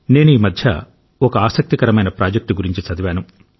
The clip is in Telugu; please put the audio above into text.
నేను ఈ మధ్య ఒక ఆసక్తికరమైన ప్రాజెక్ట్ గురించి చదివాను